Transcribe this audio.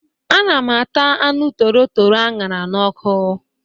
Ana m ata anụ torotoro aṅara n'ọkụ.